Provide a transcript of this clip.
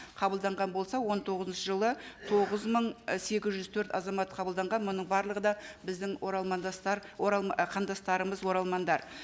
қабылданған болса он тоғызыншы жылы тоғыз мың ы сегіз жүз төрт азамат қабылданған мұның барлығы да біздің қандастарымыз оралмандар